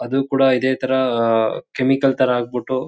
ಅದು ಕೂಡ ಇದೆ ಥರ ಅಹ್ ಕೆಮಿಕಲ್ ಥರ ಆಗ್ಬಿಟ್ಟು--